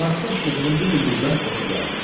Padşah qızının bu bülbüldən xoşu gəldi.